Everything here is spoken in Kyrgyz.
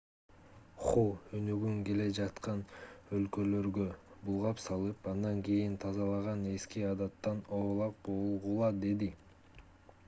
ху өнүгүн келе жаткан өлкөлөргө булгап салып андан кийин тазалаган эски адаттан оолак болгула деди